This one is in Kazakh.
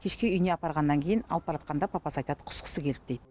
кешке үйіне апарғаннан кейін алып баратқанда папасы айтады құсқысы келді дейді